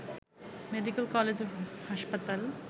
medical college ও হাসপাতাল